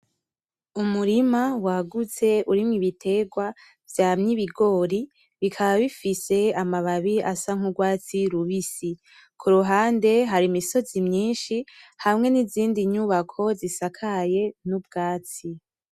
Umurima wagutse urimwo ibitegwa vyamye ibigori bikaba bifise amababi asa nk'urwatsi rubisi, kuruhande hari imisozi myinshi hamwe n'izindi nyubako zisakaye n'ubwatsi.